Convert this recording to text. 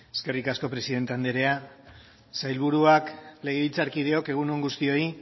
eskerrik asko presidente anderea sailburuak legebiltzarkideok egun on guztioi